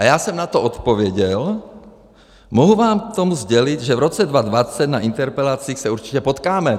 A já jsem na to odpověděl: Mohu vám k tomu sdělit, že v roce 2020 na interpelacích se určitě potkáme.